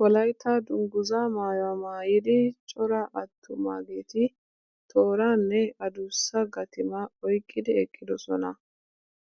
Wolaytta dungguza maayuwa maayida cora attumaageeti tooraa nne adussa gatimaa oyqqidi eqqidosona.